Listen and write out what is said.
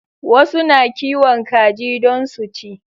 Wasu na kiwon kaji don su ci